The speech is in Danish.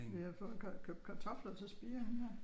Ja få lagt kartofler til spiring her